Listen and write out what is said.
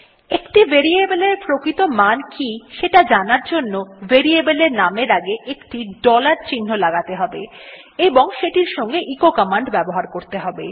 একটি ভেরিয়েবল এর প্রকৃত মান কি সেটি জানার জন্য ভেরিয়েবল এর নামের আগে একটি ডলার চিহ্ন লাগাতে হবে এবং সেটির সঙ্গে এচো কমান্ড ব্যবহার করতে হবে